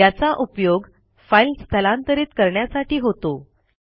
याचा उपयोग फाईल स्थलांतरित करण्यासाठी होतो